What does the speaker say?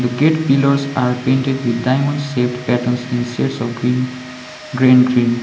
the gate pillars are painted with diamond shaped patterns in shades of green green green.